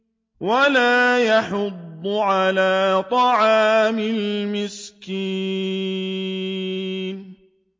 وَلَا يَحُضُّ عَلَىٰ طَعَامِ الْمِسْكِينِ